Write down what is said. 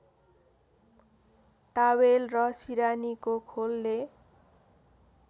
towel र सिरानीको खोलले